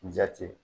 N ja tɛ